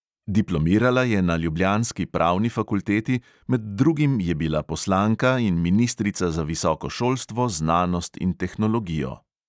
Diplomirala je na ljubljanski pravni fakulteti, med drugim je bila poslanka in ministrica za visoko šolstvo, znanost in tehnologijo.